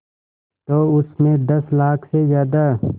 तो उस में दस लाख से ज़्यादा